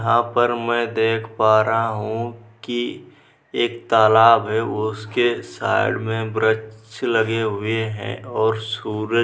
आप और मैं देख पा रहा हूँ की एक तालाब है उसके साइड में वृछ लगे हुए हैं और सूरज --